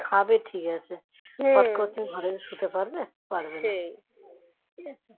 খাবে ঠিক আছে হট করে তুমি ঘরে শুতে পারবে? পারবে না